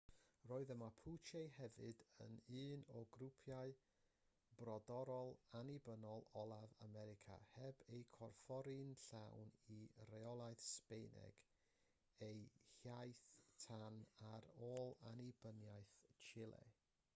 roedd y mapuche hefyd yn un o grwpiau brodorol annibynnol olaf america heb eu corffori'n llawn i reolaeth sbaeneg ei hiaith tan ar ôl annibyniaeth chile